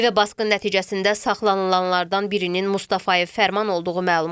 Evə basqın nəticəsində saxlanılanlardan birinin Mustafayev Fərman olduğu məlum olub.